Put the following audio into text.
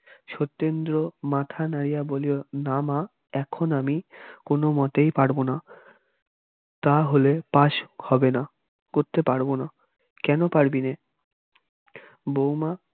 সত্যেন্দ্র মাথা নাড়িয়া বলিল না মা এখন আমি কোন মতেই পারব না তা হলে পাশ হবে না করতে পারবোনা কেন পারবি নে? বৌমা